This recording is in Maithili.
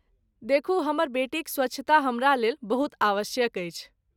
देखू, हमर बेटीक स्वच्छता हमरालेल बहुत आवश्यक अछि।